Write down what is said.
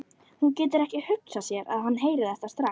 Hún getur ekki hugsað sér að hann heyri þetta strax.